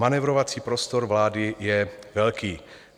Manévrovací prostor vlády je velký.